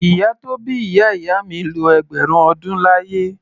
Ìyá tó bí ìyá ìyá mi lo ẹgbẹ̀rún ọdún láyé.